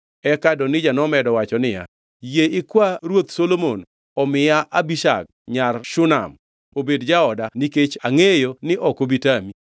Eka Adonija nomedo wacho niya, “Yie ikwa ruoth Solomon omiya Abishag nyar Shunam obed jaoda nikech angʼeyo ni ok obi tami.”